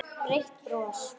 Breitt bros.